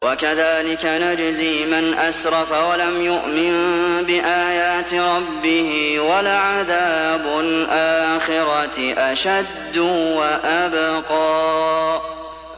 وَكَذَٰلِكَ نَجْزِي مَنْ أَسْرَفَ وَلَمْ يُؤْمِن بِآيَاتِ رَبِّهِ ۚ وَلَعَذَابُ الْآخِرَةِ أَشَدُّ وَأَبْقَىٰ